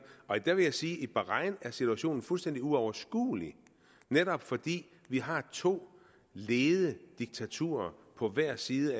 jeg vil sige at i bahrain er situationen fuldstændig uoverskuelig netop fordi vi har to lede diktaturer på hver side